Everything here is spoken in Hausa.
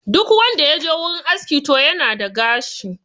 Duk wanda ya je wurin aski to yana da gashi